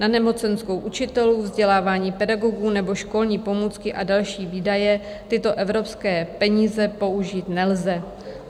Na nemocenskou učitelů, vzdělávání pedagogů nebo školní pomůcky a další výdaje tyto evropské peníze použít nelze.